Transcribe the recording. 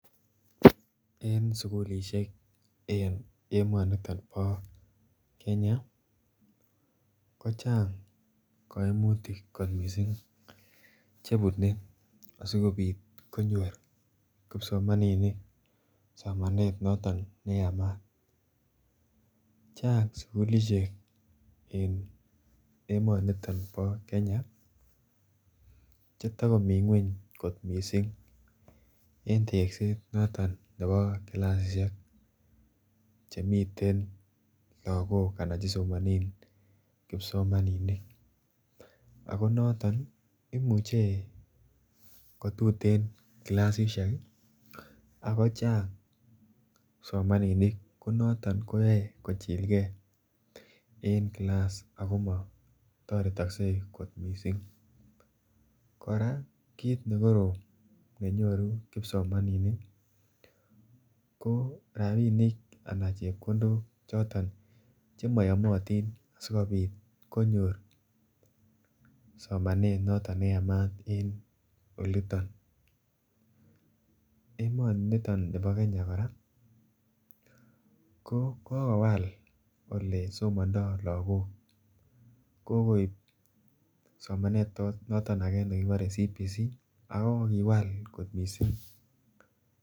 En sukulishek eng emonito po Kenya ko chang kaimutik kot missing chebunei asikobit konyor kipsomaninik somanet noton neyamat chang sukulishek eng emonito bo Kenya chetokomi ng'weny kot missing eng tekset noton nebo kilasishek chemiten lakok anan chesomanen kipsomaninik ako noton koimuchei kotuten kilasishek ako chang kipsomaninik konoton koyoei kochilgei en kilas akomatoretoksei kot mising kora kit nekorom nenyoru kipsomaninik ko rapinik ana chepkondok choton chemayomotin sikobit konyor somanet noton neyamat en oliton emoniton nebo Kenya kora ko kokowal olesomandoi lakok kokoip somanet noton ake nekibore CBC ako kiwal kot mising